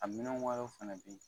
A minɛn fɛnɛ be yen.